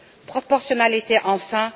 Proportionnalité, enfin.